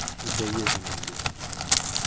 и до ебанный блядь